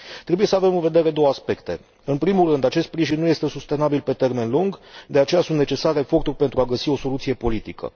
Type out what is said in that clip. Trebuie să avem în vedere două aspecte în primul rând, acest sprijin nu este sustenabil pe termen lung de aceea sunt necesare eforturi pentru a găsi o soluție politică